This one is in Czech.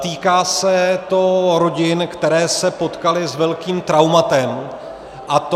Týká se to rodin, které se potkaly s velkým traumatem, a to...